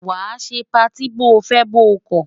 Wàá ṣe patí bóo fẹ́ bóo kọ̀!